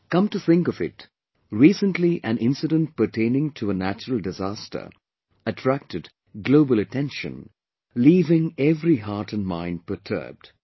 Come to think of it, recently an incident pertaining to a natural disaster attracted global attention, leaving every heart & mind perturbed